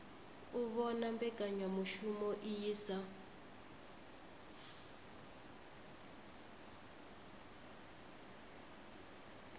u vhona mbekanyamushumo iyi sa